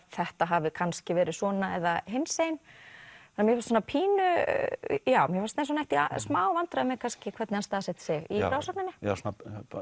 þetta hafi kannski verið svona eða hinsegin mér fannst eins og hann ætti í smávandræðum með hvernig hann staðsetti sig í frásögninni já svona